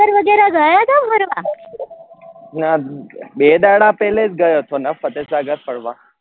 ના બે દાડા પેલે જ ગયો હતો ને ફતેસાગર ફરવા